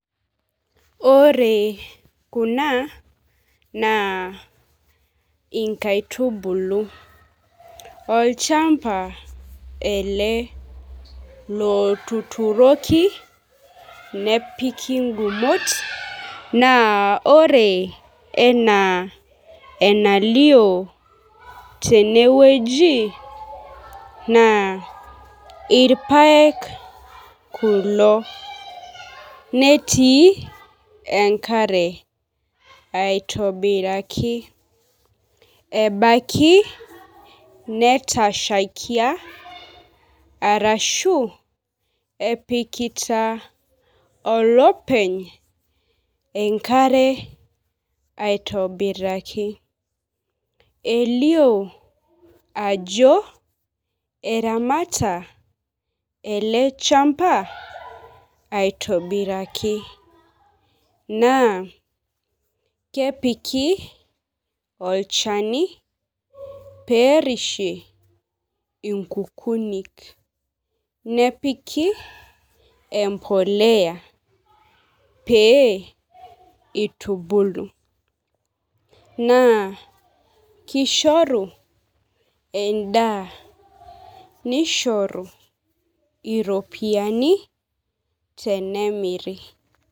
Ore kuna naa nkaitubulu, olchamba ele lotuturoki nepiki ngumot , naa ore enaa enalio tenewueji naa irpaek kulo netii enkare aitobiraki. Ebaiki netashaikia arashu epikita olopeny enkare aitobiraki. Elio ajo egira olopeny eleshamba aitobiraki naa kepiki olchani perishie inkukunik nepiki empolea pee itubulu, naa kishoru endaa nishoru iropiyini tenemiri.